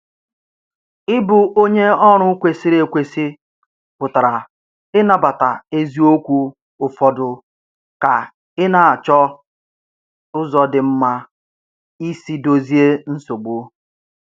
Ịbụ onye ọrụ kwesịrị ekwesị pụtara ịnabata eziokwu ụfọdụ ka ị na-achọ ụzọ dị mma isi dozie nsogbu.